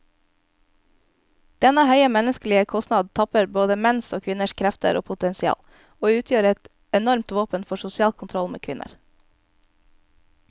Denne høye menneskelige kostnaden tapper både menns og kvinners krefter og potensial, og utgjør et enormt våpen for sosial kontroll med kvinner.